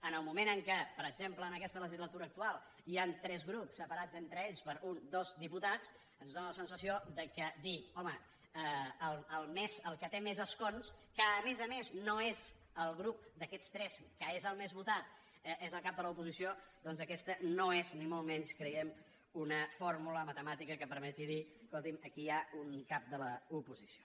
en el moment en què per exemple en aquesta legislatura actual hi han tres grups separats entre ells per un dos diputats ens dóna la sensació que dir home el que té més escons que a més a més no és el grup d’aquests tres que és el més votat és el cap de l’oposició doncs aquesta no és ni molt menys creiem una fórmula matemàtica que permeti dir escolti’m aquí hi ha un cap de l’oposició